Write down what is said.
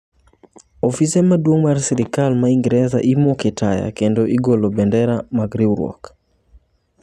Ofise maduong mar Sirkal ma Ingresa imoke taya kendo igolo bendera mag riwruok.